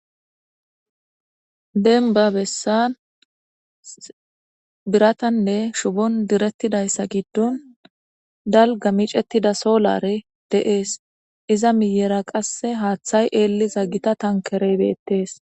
Dembba bessan biratanne shubon direttidayssa giddon dalga micettida soolare deees iza miyera qasse haaththay eelli za gita tankereybeettees.